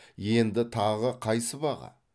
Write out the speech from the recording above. енді тағы қай сыбаға